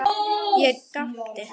Ég gapti.